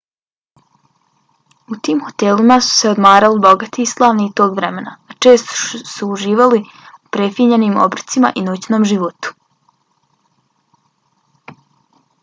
u tim hotelima su se odmarali bogati i slavni tog vremena a često su uživali u prefinjenim obrocima i noćnom životu